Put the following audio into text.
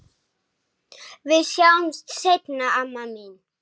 Við sjáumst seinna, amma mín.